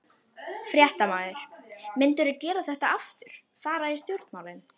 Fréttamaður: Myndirðu gera þetta aftur, fara í stjórnmálin?